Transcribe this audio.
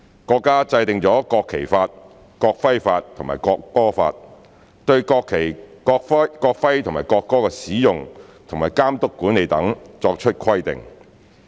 國家制定了《國旗法》、《國徽法》及《國歌法》，對國旗、國徽和國歌的使用和監督管理等作出規定。